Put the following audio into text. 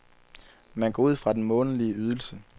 Man går ud fra den månedlige ydelse.